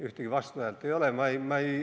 Ühtegi vastuhäält ei olnud.